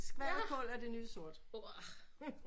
Skvalderkål er det nye sort